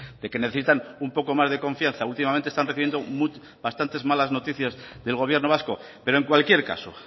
de que necesitan un poco más de confianza últimamente están recibiendo bastantes malas noticias del gobierno vasco pero en cualquier caso